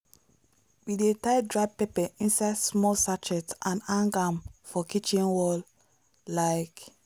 we dey tie dry pepper inside small sachet and hang am for kitchen wall like.